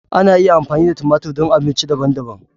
Ana iya amfani da tumatir don abinci daban-daban.